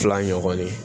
Fila ɲɔgɔn ye